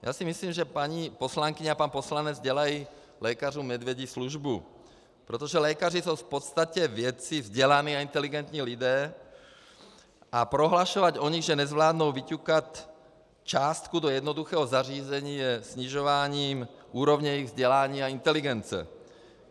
Já si myslím, že paní poslankyně a pan poslanec dělají lékařům medvědí službu, protože lékaři jsou v podstatě vědci, vzdělaní a inteligentní lidé a prohlašovat o nich, že nezvládnou vyťukat částku do jednoduchého zařízení, je snižováním úrovně jejich vzdělání a inteligence.